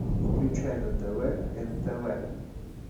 включай на тв нтв